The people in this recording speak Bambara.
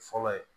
Fɔlɔ ye